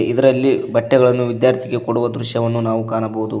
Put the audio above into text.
ಇದರಲ್ಲಿ ಬಟ್ಟೆಗಳನ್ನು ವಿದ್ಯಾರ್ಥಿಗೆ ಕೊಡುವ ದೃಶ್ಯವನ್ನು ನಾವು ಕಾಣಬೋದು.